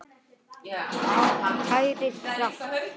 Kæra Hrefna